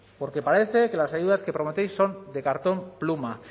porque parece que las ayudas que prometéis son de cartón pluma